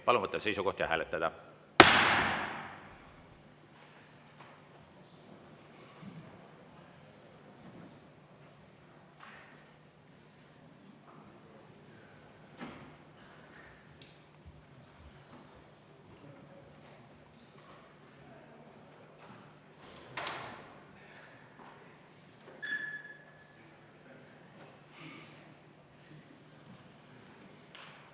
Palun võtta seisukoht ja hääletada!